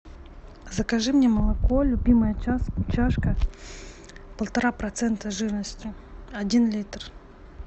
закажи мне молоко любимая чашка полтора процента жирности один литр